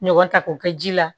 Ɲɔgɔn ta k'o kɛ ji la